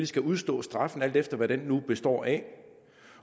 skal udstå straffen alt efter hvad den nu består af